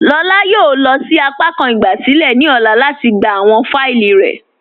Lọlá yóò lọ sí àpàkàn ìgbàsílẹ̀ ní ọlá lati gbà awọn fáílì rẹ̀.